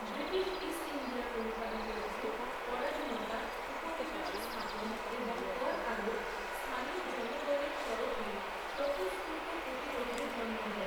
British East India company কর্তৃক, পরাধীনতা, উপনিবেশ স্থাপন এবং কর আরোপ, স্থানীয় জনগণের তরফে স্বতঃস্ফূর্ত প্রতিরোধের জন্ম দেয়।